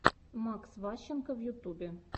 макс ващенко в ютубе